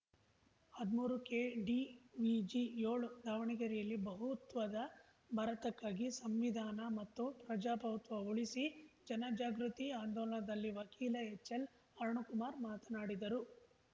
ಹದ್ಮೂರುಕೆಡಿವಿಜಿಯೋಳು ದಾವಣಗೆರೆಯಲ್ಲಿ ಬಹುತ್ವದ ಭಾರತಕ್ಕಾಗಿ ಸಂವಿಧಾನ ಮತ್ತು ಪ್ರಜಾಪ್ರಭುತ್ವ ಉಳಿಸಿ ಜನ ಜಾಗೃತಿ ಆಂದೋಲನದಲ್ಲಿ ವಕೀಲ ಎಚ್‌ಎಲ್‌ಅರುಣಕುಮಾರ ಮಾತನಾಡಿದರು